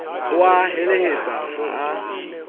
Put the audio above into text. ho a heletsa ha a